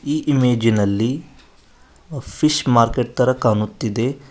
ಈ ಇಮೇಜ್ ಇನಲ್ಲಿ fish market ತರ ಕಾಣುತ್ತಿದೆ.